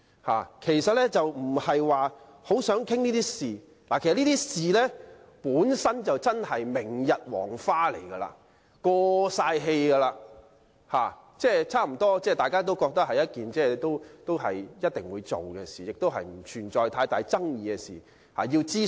他們並不是真正想討論這些事情，因為這些事情已是明日黃花，已經"過氣"，而且大家都知道是一定會進行的，而且並不存在太大爭議，亦已進行諮詢。